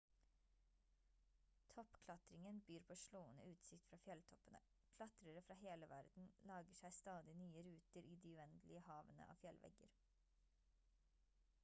toppklatringen byr på slående utsikt fra fjelltoppene klatrere fra hele verden lager seg stadig nye ruter i de uendelige havene av fjellvegger